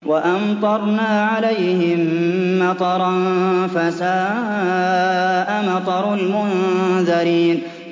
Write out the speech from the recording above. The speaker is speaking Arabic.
وَأَمْطَرْنَا عَلَيْهِم مَّطَرًا ۖ فَسَاءَ مَطَرُ الْمُنذَرِينَ